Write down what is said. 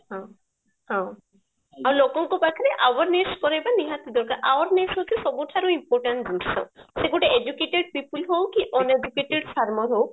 ହଁ ହଁ ଲୋକଙ୍କ ପାଖରେ awareness କରେଇବା ନିହାତି ଦରକାର awareness ହଉଛି ସବୁଠାରୁ important ଜିନିଷ ସେ ଗୋଟେ educated people ହଉ କି uneducated farmer ହଉ